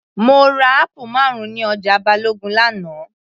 Mo ra apple marun ní ọjà Balogun l'ana